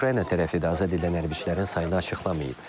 Ukrayna tərəfi də azad edilən hərbiçilərin sayını açıqlamayıb.